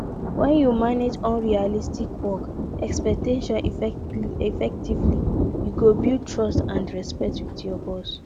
when you manage unrealistic work expectations effectively you go build trust and respect with your boss